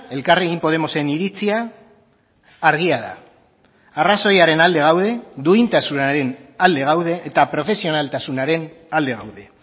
elkarrekin podemosen iritzia argia da arrazoiaren alde gaude duintasunaren alde gaude eta profesionaltasunaren alde gaude